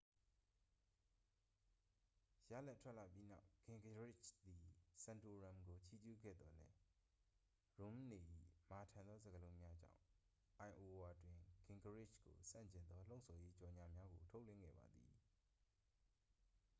ရလဒ်ထွက်လာပြီးနောက် ဂင်ဂရစ်ချ်သည် ဆန်တိုရမ်ကို ချီးကျူးခဲ့သော်လည်း ရွန်းမ်နေ၏ မာထန်သောစကားလုံးများကြောင့် အိုင်အိုဝါတွင် ဂင်ဂရစ်ချ်ကိုဆန့်ကျင်သော လှုံ့ဆော်ရေးကြော်ငြာများကို ထုတ်လွှင့်ခဲ့ပါသည်